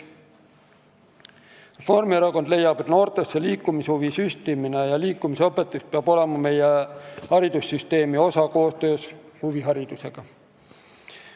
Reformierakond leiab, et noortesse liikumishuvi süstimine ja liikumisõpetus peab olema meie haridussüsteemi osa koostöös huviharidusega.